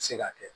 Se ka kɛ